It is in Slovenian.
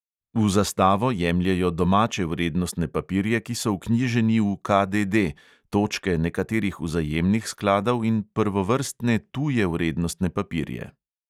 V zastavo jemljejo domače vrednostne papirje, ki so vknjiženi v KDD, točke nekaterih vzajemnih skladov in prvovrstne tuje vrednostne papirje.